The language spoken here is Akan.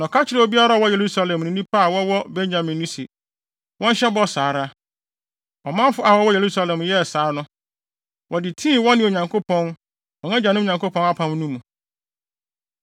Na ɔka kyerɛɛ obiara a ɔwɔ Yerusalem ne nnipa a wɔwɔ Benyamin no se, wɔnhyɛ bɔ saa ara. Ɔmanfo a wɔwɔ Yerusalem yɛɛ saa no, wɔde tii wɔne Onyankopɔn, wɔn agyanom Nyankopɔn apam no mu.